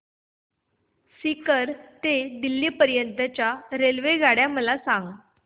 सीकर ते दिल्ली पर्यंत च्या रेल्वेगाड्या मला सांगा